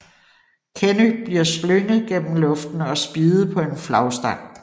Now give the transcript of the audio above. Kenny bliver slynget gennem luften og spiddet på en flagstang